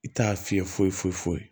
I t'a fiyɛ foyi foyi foyi